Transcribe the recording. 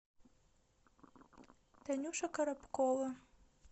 танюша коробкова